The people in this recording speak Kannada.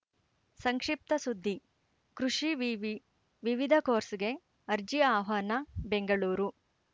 ಸಂಕ್ಷಿಪ್ತ ಸುದ್ದಿ ಕೃಷಿ ವಿವಿ ವಿವಿಧ ಕೋರ್ಸ್‌ಗೆ ಅರ್ಜಿ ಆಹ್ವಾನ ಬೆಂಗಳೂರು